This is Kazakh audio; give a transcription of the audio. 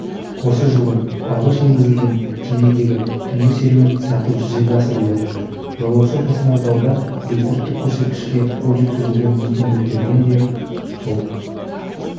осы жылы алғаш еңгізілген кемедегі түнгі серуен сәтті жүзеге асырылды жолаушы тасымалдауда рекордтық көрсеткішке қол жеткізуге мүмкіндік берген де сол